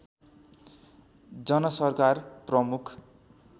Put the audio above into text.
जनसरकार प्रमुख